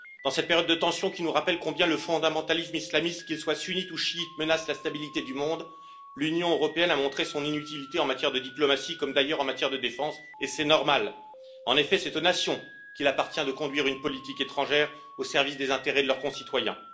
Dans cette période de tensions qui nous rappelle combien le fondamentalisme islamiste, qu'il soit sunnite ou chiite, menace la stabilité du monde, l'Union européenne a montré son inutilité en matière de diplomatie, comme d'ailleurs en matière de défense, et c'est normal. En effet, c'est aux nations qu'il appartient de conduire une politique étrangère au service des intérêts de leurs citoyens.